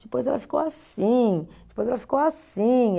Depois ela ficou assim, depois ela ficou assim.